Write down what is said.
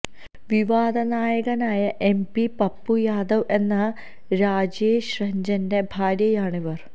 വിവാദനായകനായ MP Pappu Yadav എന്ന രാജേഷ് രഞ്ജന്റെ ഭാര്യയാണ് ഇവര്